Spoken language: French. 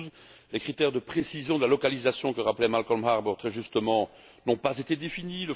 112. Les critères de précision de la localisation, que rappelait Malcolm Harbour très justement, n'ont pas été définis